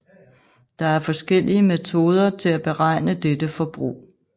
Der er forskellige metoder til at beregne dette forbrug